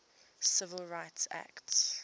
civil rights act